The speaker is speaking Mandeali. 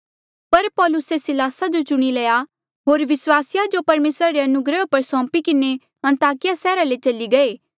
पर पौलुसे सिलास जो चुणी लया होर विस्वासिये तेस जो परमेसरा री अनुग्रह पर सौंपी किन्हें अन्ताकिया सैहरा ले चली गये